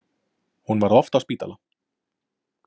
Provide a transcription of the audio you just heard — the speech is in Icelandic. Hún var oft á spítala.